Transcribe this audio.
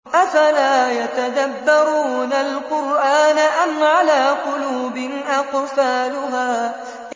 أَفَلَا يَتَدَبَّرُونَ الْقُرْآنَ أَمْ عَلَىٰ قُلُوبٍ أَقْفَالُهَا